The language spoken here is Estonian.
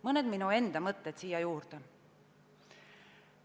Mõned minu enda mõtted siia juurde.